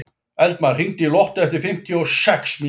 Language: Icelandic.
Eldmar, hringdu í Lottu eftir fimmtíu og sex mínútur.